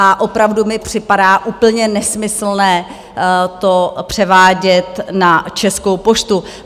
A opravdu mi připadá úplně nesmyslné to převádět na Českou poštu.